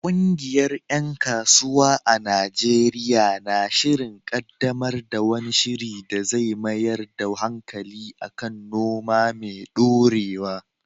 Ƙungiyar ‘yan kasuwa a Najeriya na shirin kaddamar da wani shiri da zai mayar da hankali kan noma mai dorewa.